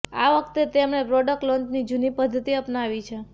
આ વખતે તેમણે પ્રોડક્ટ લોન્ચની જૂની પદ્ધતિ અપનાવી છે